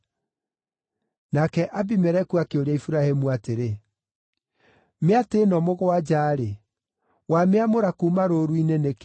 Nake Abimeleku akĩũria Iburahĩmu atĩrĩ, “Mĩatĩ ĩno mũgwanja-rĩ, wamĩamũra kuuma rũũru-inĩ nĩkĩ?”